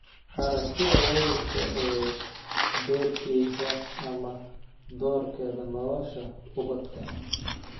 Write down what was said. Aragtida waalidka ee doorkiisa ama doorkeeda nolosha ubadka.